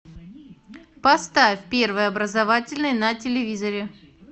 поставь первый образовательный на телевизоре